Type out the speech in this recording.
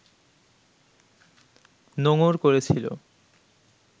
নোঙর করেছিল